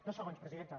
dos segons presidenta